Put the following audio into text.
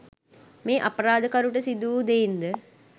මේ අපරාධකරුට සිදුවූ දෙයින් ද